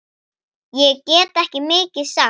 Ég get ekki mikið sagt.